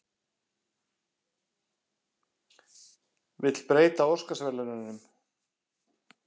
Vill breyta Óskarsverðlaununum